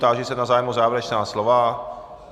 Táži se na zájem o závěrečná slova.